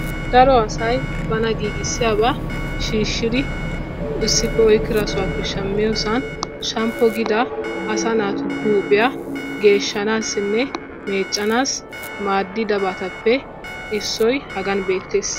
Daro asay bana giggiisiyoba shiishshidi issippe oyqqida sohuwa shaammiyosan shaammpuwa gida asaa naatu huuphphiya geeshanaassinne meeccanaassi maaddidabatuppe issoy haagan beettees.